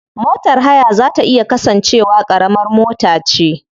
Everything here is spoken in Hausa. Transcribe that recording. Motar haya za ta iya kasance wa karamar mota ce.